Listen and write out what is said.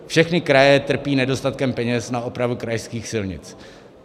Všechny kraje trpí nedostatkem peněz na opravu krajských silnic.